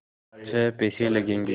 छः पैसे लगेंगे